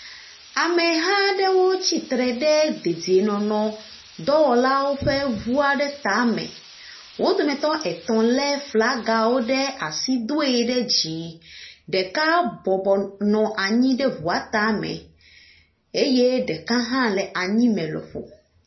Ameha aɖewo tsi tre ɖe dedienɔnɔdɔwɔlawo ƒe ŋu aɖe tame. Wo dometɔ etɔ̃ lé flagawo ɖe asi doe ɖe dzi. Ɖeka bɔbɔ nɔ anyi ɖe ŋua tame. Eye ɖeka hã le anyime lɔƒo.